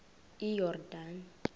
iyordane